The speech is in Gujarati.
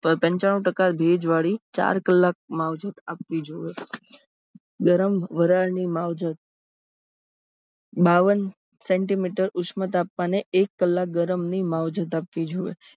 પંચાનુ ટકા ભેજવાળી ચાર કલાક માવજત આપવી જોઈએ. ગરમ વરાળની માવજત બાવન સેમી ઉશ્મ તાપમાને એક કલાક માવજત આપવી જોઈએ.